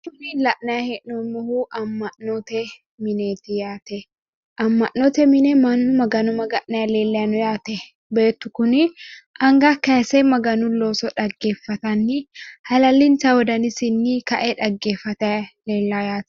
tini lanni heehnommohu amanoote mineeti yaata manu mahano maganani noyaate beetu kunni anga kayise maganu looso dageefatani halaalinta wodanisinni gaate